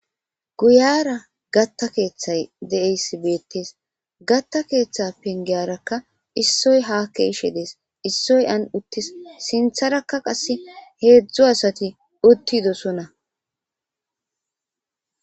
Guyera gatta keeththay de'es beettees gatta keeththa pengiyarakka issoy ha ke'ishe dees issoy an uttis sinththarakka qasse heedzdzu asati uttidosona.